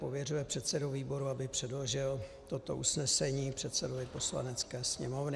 Pověřuje předsedu výboru, aby předložil toto usnesení předsedovi Poslanecké sněmovny.